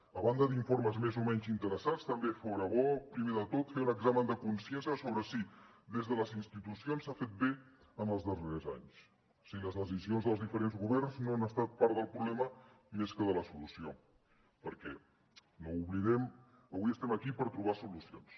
a banda d’informes més o menys interessats també fora bo primer de tot fer un examen de consciència sobre si des de les institucions s’ha fet bé en els darrers anys si les decisions dels diferents governs no han estat part del problema més que de la solució perquè no ho oblidem avui estem aquí per trobar solucions